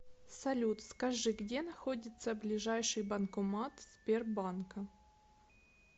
салют скажи где находится ближайший банкомат сбербанка